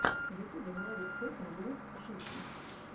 в ютюбе владик фокин блог о жизни